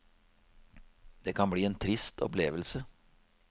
Det kan bli en trist opplevelse.